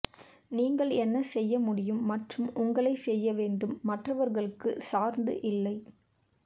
நீங்கள் என்ன செய்ய முடியும் மற்றும் உங்களை செய்ய வேண்டும் மற்றவர்களுக்கு சார்ந்து இல்லை